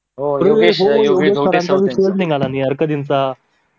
सरांचा विषयच निघाला नाही यार कधीचा